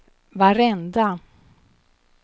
varenda